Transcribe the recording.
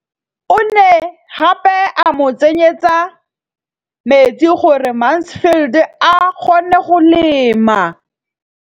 O ne gape a mo tsenyetsa metsi gore Mansfield a kgone go lema.